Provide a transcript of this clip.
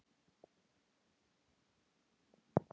Þeir þyrptust að mér einsog flugur.